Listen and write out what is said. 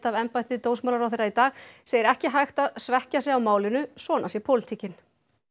af embætti dómsmálaráðherra í dag segir ekki hægt að svekkja sig á málinu svona sé pólitíkin